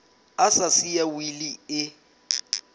a sa siya wili e